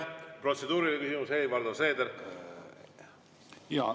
Protseduuriline küsimus, Helir-Valdor Seeder.